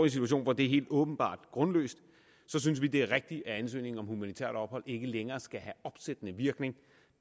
situation hvor det er helt åbenbart grundløst synes vi det er rigtigt at ansøgningen om humanitært ophold ikke længere skal have opsættende virkning